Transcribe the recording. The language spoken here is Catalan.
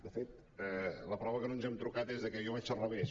de fet la prova que no ens hem trucat és que jo vaig xerrar més